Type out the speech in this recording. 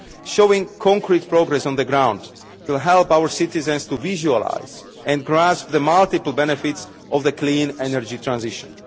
Showing concrete progress on the ground will help our citizens to visualise and grasp the multiple benefits of the clean energy transition.